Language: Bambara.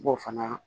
Bɔ fana